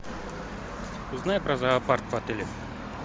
узнай про зоопарк в отеле